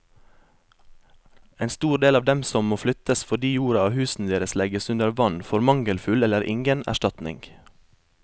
En stor del av dem som må flyttes fordi jorda og husene deres legges under vann, får mangelfull eller ingen erstatning.